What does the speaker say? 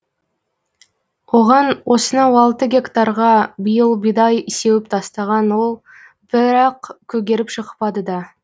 оған осынау алты гектарға биыл бидай сеуіп тастаған ол бірақ көгеріп шықпады да